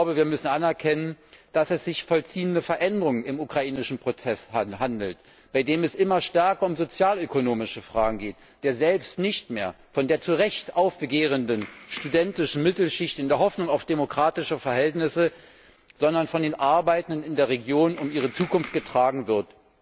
Wir müssen anerkennen, dass es sich um sich vollziehende Veränderungen im ukrainischen Protest handelt, bei dem es immer stärker um sozialökonomische Fragen geht, der selbst nicht mehr von der zu Recht aufbegehrenden studentischen Mittelschicht in der Hoffnung auf demokratische Verhältnisse, sondern von der Sorge der Arbeitenden in der Region um ihre Zukunft getragen wird.